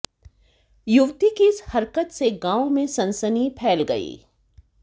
युवती की इस हरकत से गांव में सनसनी फैल गई